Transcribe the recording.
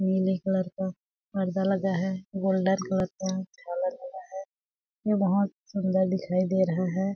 नीले कलर का पर्दा लगा है गोल्डन कलर का झालर लगा है ये बहोत सुंदर दिखाई दे रहा है।